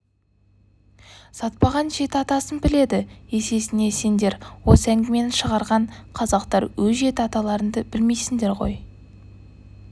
сатпаған жеті атасын біледі есесіне сендер осы әңгімені шығарған қазақтар өз жеті аталарыңды білмейсіңдер ғой